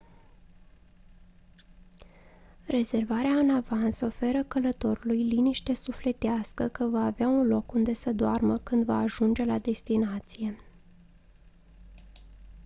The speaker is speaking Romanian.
rezervarea în avans oferă călătorului liniște sufletească că va avea un loc unde să doarmă când va ajunge la destinație